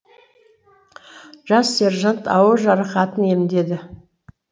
жас сержант ауыр жарақатын емдеді